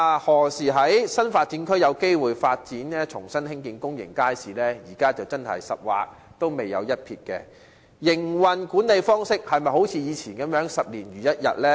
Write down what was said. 對於新發展區何時有機會重新興建公眾街市，現時是"十劃仍未有一撇"，而營運管理方式會否像以往般十年如一日呢？